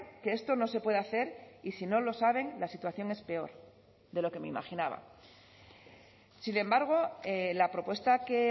que esto no se puede hacer y si no lo saben la situación es peor de lo que me imaginaba sin embargo la propuesta que